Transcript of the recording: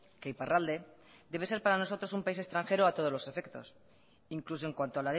que iparralde debe ser para nosotros un país extranjero a todos los efectos incluso en cuanto